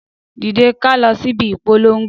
Dìde ká lọ síbi ìpolongo